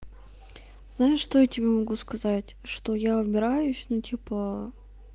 знаешь что я тебе могу сказать что я убираюсь ну типа